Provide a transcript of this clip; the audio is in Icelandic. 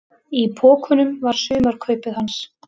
Í pokunum var sumarkaupið hans.